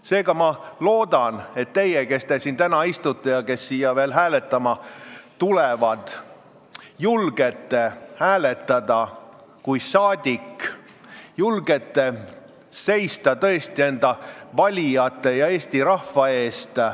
Seega loodan ma, et teie, kes te siin täna istute, ja teie, kes te siia veel hääletama tulete, julgete hääletada kui rahvasaadikud, julgete tõesti seista enda valijate ja Eesti rahva eest.